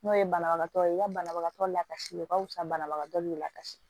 N'o ye banabagatɔ ye i ka banabagatɔ lakasi o ka wusa banabagatɔ y'u lakasi